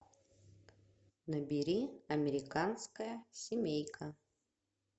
набери американская семейка